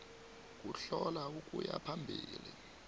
kuhlola ukuya phambili